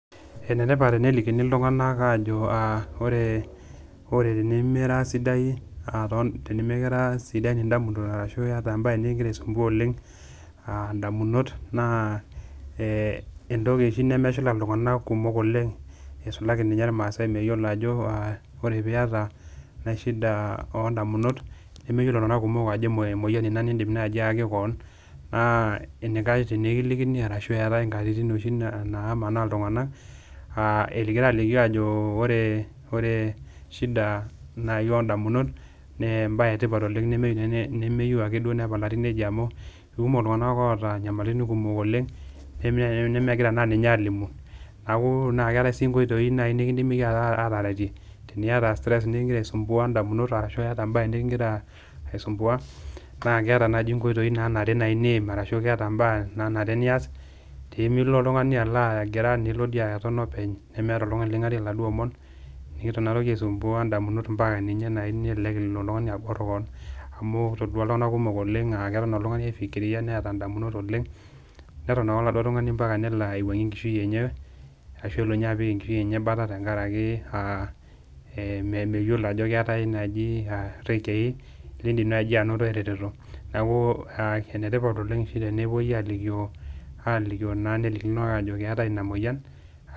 Ene tipat enelikini iltung'anak aajo aa ore ore tenimira sidai aaton tenimikira sidan ndamunot arashu iyata embaye neking'ira aisumbua oleng' aa ndamunot naa ee entoki oshi nemeshula iltung'anak kumok oleng' isulaki ninye irmaasai meyiolo ajo aa ore piata ena shida oo ndamunot, nemeyiolo iltung'anak kumok ajo emo emoyian ina niindim naaji aaki koon naa enikash tenikilini arashu eetai nkatitin oshi naamanaa iltung'anak egira aalikio ajo ore ore shida nai oo ndamunot nee embaye e tipat oleng' nemeyiu ne nemeyiu ake duo nepalari neija amu kekumok iltung'anak oata nyamaliritin kumok oleng' pee idol ajo nemigira ninye naa aalimu. Aaku naa keetai sii nkoitoi nai nekindimi iyie ata ataretie, teniata stress neking'ira aisumbuan ndamunot ashu eeta embaye neking'ira aisumbua naa keeta naaji nkoitoi naanare niim arashu keeta mbaa nanare nias pee milo oltung'ani alo agira nilo dii aton openy nemeeta oltung'ani ling'arie laduo omon nekiton inatoki aisumbua ndamunot mpaka ninye naa nelelek elo oltung'ani abor koon amu kitodua iltung'anak kumok oleng' aa keton oltung'ani aifikiria neeta ndamunot oleng', neton ake oladuo tung'ani mpaka nelo aiwuang'ie enkishui enye ashu elo nye apik enkishui enye embata tenkaraki aa ee meyiolo ajo keetai naaji aa iretei liindim naaji anoto eretoto. Neeku aa ene tipat oleng' oshi tenepuoi aalikio aalikio naa nelikini iltung'anak ajo eetai ina moyian.